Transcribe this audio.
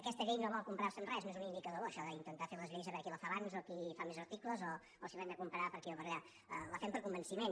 aquesta llei no vol comparar se amb res no és un indicador bo això d’intentar fer les lleis a veure qui la fa abans o qui fa més articles o si l’hem de comparar per aquí o per allà la fem per convenciment